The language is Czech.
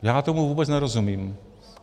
Já tomu vůbec nerozumím.